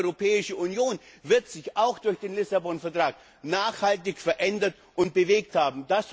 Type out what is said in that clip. Aber auch die Europäische Union wird sich auch durch den Vertrag von Lissabon nachhaltig verändert und bewegt haben.